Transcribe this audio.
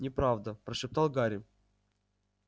неправда прошептал гарри